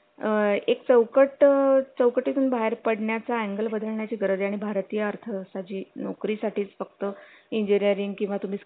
अ एक चौकट चौकटी तून बाहेर पडण्या चा angel बदलण्या ची गरज आहे आणि भारतीय अर्थव्यवस्था जी नोकरी साठीच फक्त इंजीनीरिंग किंवा तुम्ही